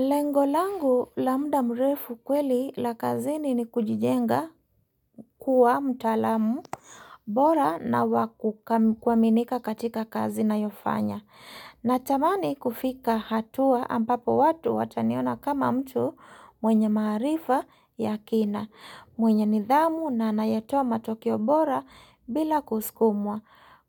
Lengo langu la mda mrefu kweli la kazini ni kujijenga kuwa mtalamu bora na wakuaminika katika kazi nayofanya. Natamani kufika hatua ambapo watu wataniona kama mtu mwenye maharifa ya kina. Mwenye nidhamu na anayetoa matokeo bora bila kuskumwa.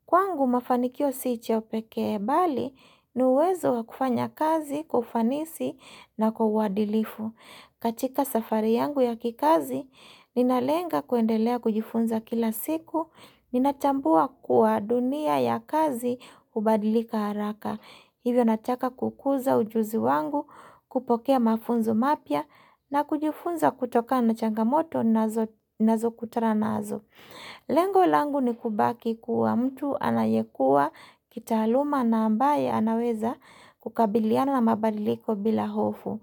Kwangu mafanikio si cha pekee bali, ni uwezo wa kufanya kazi kwa ufanisi na kwa uhadilifu. Katika safari yangu ya kikazi, ninalenga kuendelea kujifunza kila siku, ninachambua kuwa dunia ya kazi hubadilika haraka. Hivyo nataka kukuza ujuzi wangu, kupokea mafunzo mapya, na kujifunza kutokana na changamoto nazo kutana nazo. Lengo langu ni kubaki kuwa mtu anayekua kitaaluma na ambaye anaweza kukabiliana na mabadiliko bila hofu.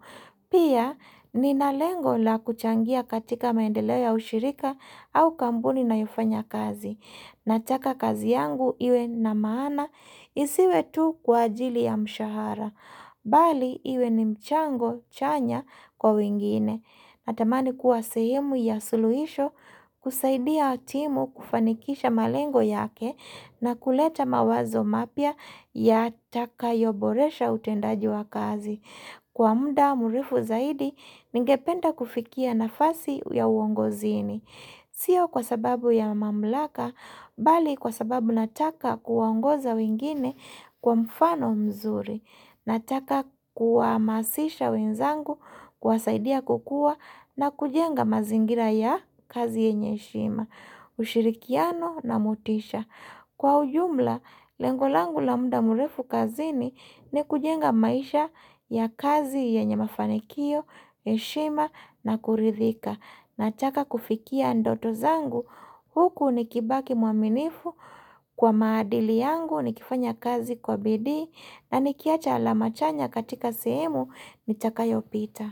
Pia nina lengo la kuchangia katika maendeleo ya ushirika au kambuni ninayofanya kazi. Nataka kazi yangu iwe na maana isiwe tu kwa ajili ya mshahara, bali iwe ni mchango chanya kwa wengine. Natamani kuwa sehemu ya suluhisho, kusaidia timu kufanikisha malengo yake na kuleta mawazo mapya yatakayoboresha utendaji wa kazi. Kwa mda murefu zaidi, ningependa kufikia nafasi ya uongozini. Sio kwa sababu ya mamlaka, bali kwa sababu nataka kuwaongoza wengine kwa mfano mzuri. Nataka kuamasisha wenzangu, kuwasaidia kukua na kujenga mazingira ya kazi yenye heshima, ushirikiano na motisha. Kwa ujumla, lengo langu la muda murefu kazini ni kujenga maisha ya kazi yenye mafanikio, heshima na kuridhika. Nachaka kufikia ndoto zangu, huku nikibaki muaminifu kwa maadili yangu nikifanya kazi kwa bidii na nikiacha alama chanya katika sehemu nitakayopita.